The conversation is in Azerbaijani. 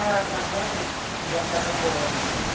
Mən razılaşdım yaşadığım oğlan.